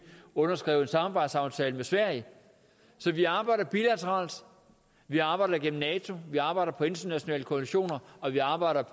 underskrev en samarbejdsaftale med sverige så vi arbejder bilateralt vi arbejder gennem nato vi arbejder i internationale koalitioner og vi arbejder